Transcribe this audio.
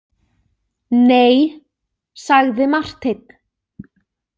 Nei, sagði Marteinn.